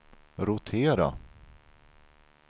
rotera